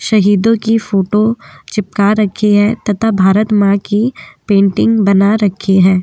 शहीदों की फोटो चिपका रखी है तथा भारत मां की पेंटिंग बना रखी है।